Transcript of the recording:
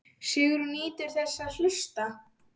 Sigrún nýtur þess að hlusta.